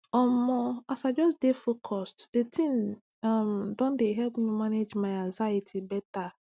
omo as i just just dey focuseddi thing um don dey help me manage my anxiety better